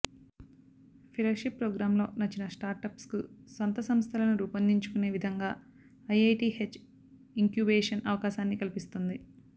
fellowship ప్రోగ్రామ్లో నచ్చిన స్టార్టప్స్కు సొంత సంస్థలను రూపొందించుకునే విధంగా ఐఐటీహెచ్ ఇంక్యుబేషన్ అవకాశాన్ని కల్పిస్తుంది